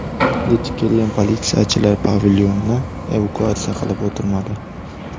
Yetib kelgan politsiyachilar pavilyonni evakuatsiya qilib o‘tirmadi.